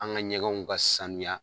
An ka ɲɛgɛnw ka saniya